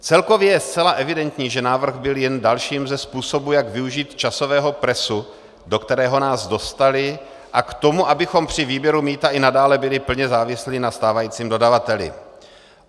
Celkově je zcela evidentní, že návrh byl jen dalším ze způsobů, jak využít časového presu, do kterého nás dostali, a k tomu, abychom při výběru mýta i nadále byli plně závislí na stávajícím dodavateli.